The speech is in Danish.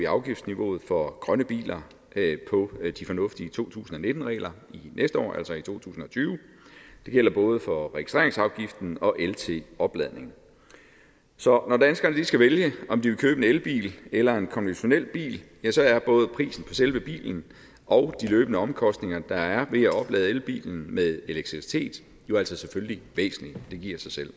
afgiftsniveauet for grønne biler på de fornuftige to tusind og nitten regler til næste år altså i to tusind og tyve det gælder både for registreringsafgiften og el til opladning så når danskerne lige skal vælge om de vil købe en elbil eller en konventionel bil så er både prisen på selve bilen og de løbende omkostninger der er ved at oplade elbilen med elektricitet jo altså selvfølgelig væsentlige det giver sig selv